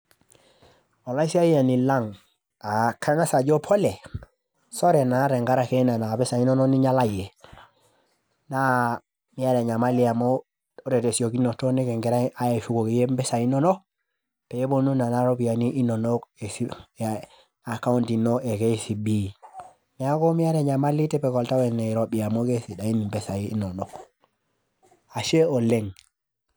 Olaisiayiani lang', aa kang'asa ajo pole, sore na tenkaraki nena pisai inonok ninyalayie na miata enyemali amu ore te siokinoto nikingira peponu na ropiyani inonok account ino e KCB, neaku miata enyamali tipika oltau enirobi amu kesidain mpisai inonok, ashe oleng'.